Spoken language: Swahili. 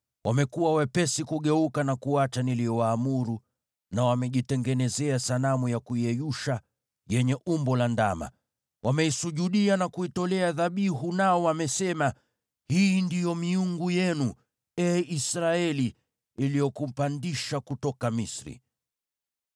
Wamekuwa wepesi kugeuka na kuacha niliyowaamuru, na wamejitengenezea sanamu ya kuyeyusha yenye umbo la ndama. Wameisujudia na kuitolea dhabihu, nao wamesema, ‘Hii ndiyo miungu yenu, ee Israeli iliyokupandisha kutoka Misri.’ ”